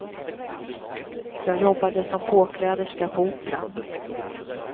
Jag jobbade som påkläderska på operan.